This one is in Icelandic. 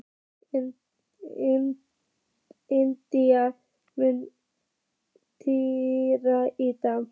Indíana, mun rigna í dag?